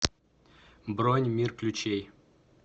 бронь мир ключей